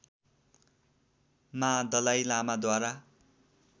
मा दलाइ लामाद्वारा